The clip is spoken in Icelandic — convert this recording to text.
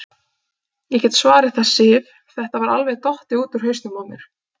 Ég get svarið það, Sif, þetta var alveg dottið út úr hausnum á mér.